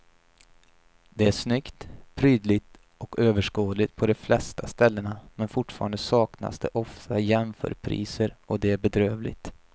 Det är snyggt, prydligt och överskådligt på de flesta ställena men fortfarande saknas det ofta jämförpriser och det är bedrövligt.